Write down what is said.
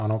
Ano.